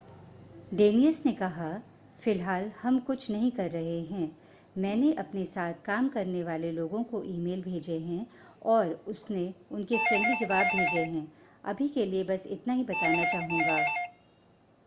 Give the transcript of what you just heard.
डेनियस ने कहा फ़िलहाल हम कुछ नहीं कर रहे हैं मैंने अपने साथ काम करने वाले लोगों को ईमेल भेजे हैं और उसने उनके फ्रेंडली जवाब भेजे हैं अभी के लिए बस इतना ही बताना चाहूंगा